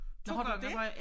Nåh har du det?